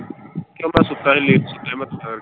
ਕੋਈ ਮੈਂ ਸੁੱਤਾ ਸੀ late ਸੁੱਤਾ ਸੀ ਮੈਂ ਥੋੜਾ।